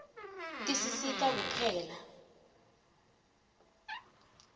tisisita kupheka